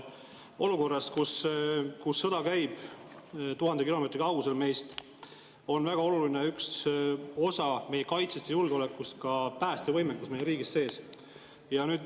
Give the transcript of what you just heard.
Olukorras, kus sõda käib tuhande kilomeetri kaugusel meist, on üks väga oluline osa meie kaitsest ja julgeolekust ka päästevõimekus meie riigis sees.